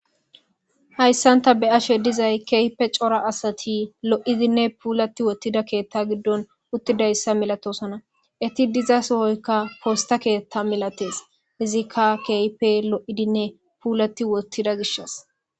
Hayssanta be ashe dizay keype cora asati lo7idinne puulati wottida keethta giddon uttidayssa milatosana iti diza sohoyka posta keethta milates izikka keype lo7idinne puulati wottida gishas